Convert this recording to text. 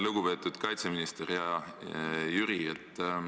Lugupeetud kaitseminister, hea Jüri!